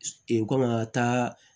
kɔmi an ka taa